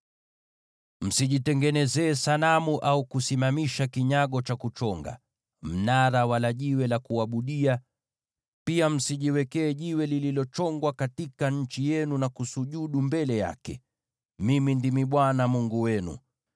“ ‘Msijitengenezee sanamu au kusimamisha kinyago cha kuchonga, au mnara, wala jiwe la kuabudia, na pia msijiwekee jiwe lililochongwa katika nchi yenu na kusujudu mbele yake. Mimi ndimi Bwana Mungu wenu.